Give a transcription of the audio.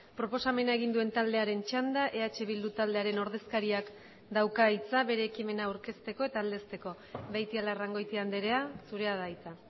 proposamena egin duen taldearen txanda eh bildu taldearen ordezkariak dauka hitza bere ekimena aurkezteko eta aldezteko beitialarrangoitia andrea zurea da hitza